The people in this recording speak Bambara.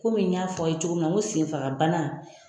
Ko min n y'a fɔ a' ye cogo min na n ko senfaga bana.